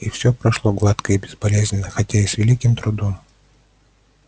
и все прошло гладко и безболезненно хотя и с великим трудом